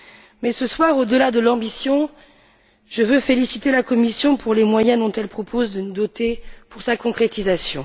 Mais, ce soir, au delà de l'ambition, je veux féliciter la Commission pour les moyens dont elle propose de nous doter pour sa concrétisation.